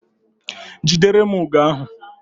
Jidere m ugo ahu!